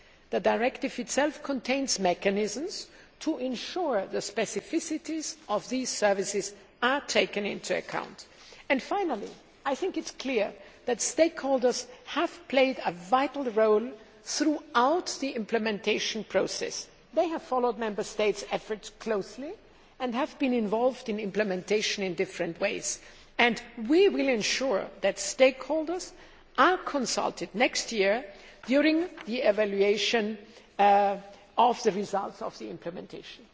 The directive itself contains mechanisms to ensure the specificities of these services are taken into account. Finally, I think it is clear that stakeholders have played a vital role throughout the implementation process. They have followed Member States' efforts closely and have been involved in implementation in different ways, and we will ensure that stakeholders are consulted next year during the evaluation of the results of the implementation.